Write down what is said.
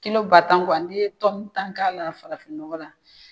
Kilo ba tan n'i ye tɔmu tan k'a la farafinnɔgɔn la